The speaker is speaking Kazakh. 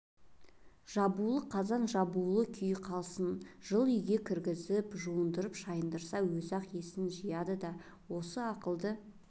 жабулы қазан жабулы күйі қалсын жылы үйге кіргізіп жуындырып-шайындырса өзі-ақ есін жияды да осы ақылды